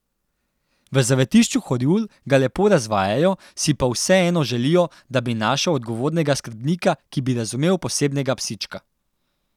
V Zavetišču Horjul ga lepo razvajajo, si pa vseeno želijo, da bi našel odgovornega skrbnika, ki bi razumel posebnega psička.